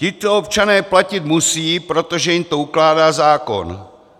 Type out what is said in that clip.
Tito občané platit musejí, protože jim to ukládá zákon.